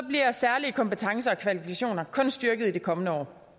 bliver særlige kompetencer og kvalifikationer kun styrket i de kommende år